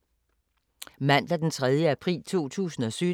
Mandag d. 3. april 2017